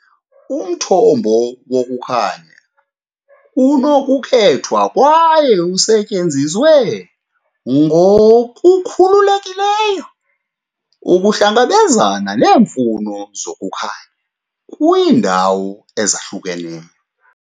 Umthombo wokukhanya unokukhethwa kwaye usetyenziswe ngokukhululekileyo ukuhlangabezana neemfuno zokukhanya kwiindawo ezahlukeneyo.